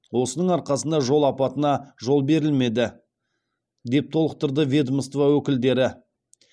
осының арқасында жол апатына жол берілмеді деп толықтырды ведомство өкілдері